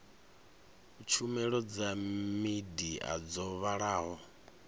tshumelo dza midia dzo vhalaho